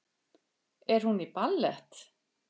Er hún í ballett?